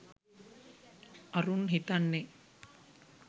අරුන් හිතන්නෙ